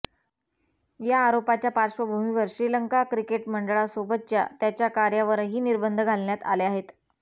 या आरोपाच्या पार्श्वभूमीवर श्रीलंका क्रिकेट मंडळासोबतच्या त्याच्या कार्यावरही निर्बंध घालण्यात आले आहेत